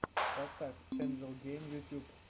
поставь энджел гейм ютьюб